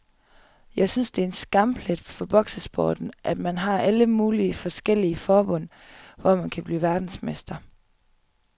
Jeg synes det er en skamplet for boksesporten, at man har alle mulige forskellige forbund, hvor man kan blive verdensmester.